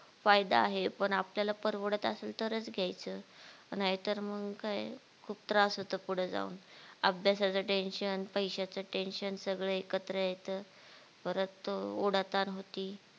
फायदा आहे पण आपल्याला परवडत असल तरच घायच नाहीतर मग काय खूप त्रास होतो पुढे जाऊन अभ्यासाचं tension पैश्याचं tension सगळं एकत्र येयचं परत ओढा ताण होती